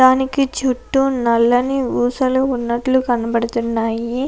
తణుకు చుట్టూ నల్లని ఊసలు ఉన్నట్లు కనబడుతున్నాయి.